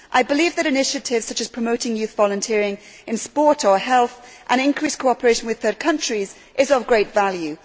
I believe that initiatives such as promoting youth volunteering in sport or health and increased cooperation with third countries is of great value.